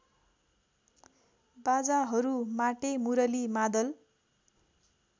बाजाहरू माटेमुरली मादल